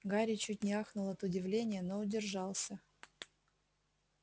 гарри чуть не ахнул от удивления но удержался